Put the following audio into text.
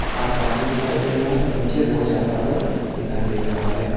आसमान भी दिखाई दे रहा है और नीचे रोड जाता हुआ दिखाई दे रहा है।